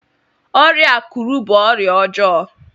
ọrịa akuru bu ọrịa ọjọọ